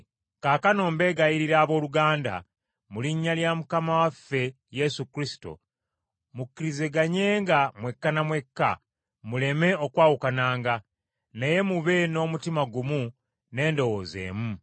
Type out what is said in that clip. Kaakano mbeegayirira abooluganda, mu Iinnya lya Mukama waffe Yesu Kristo, mukkiriziganyenga mwekka na mwekka muleme okwawukananga. Naye mube n’omutima gumu n’endowooza emu.